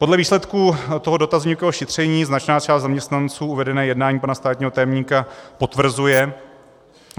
Podle výsledků toho dotazníkového šetření značná část zaměstnanců uvedené jednání pana státního tajemníka potvrzuje.